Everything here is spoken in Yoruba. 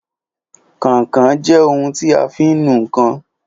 Kàinkàin jẹ́ ohun tí a fi ń nu ǹkan